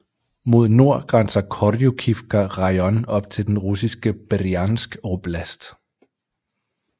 Mod nord grænser Korjukivka rajon op til den russiske Brjansk oblast